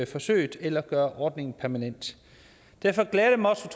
forsøget eller gøre ordningen permanent derfor glæder det mig også